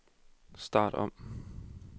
start om